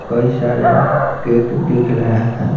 कई शारे केक दिख रहे हैं।